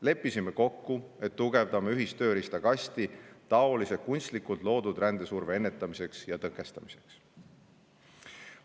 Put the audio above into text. Leppisime kokku, et tugevdame ühist tööriistakasti taolise kunstlikult loodud rändesurve ennetamiseks ja tõkestamiseks.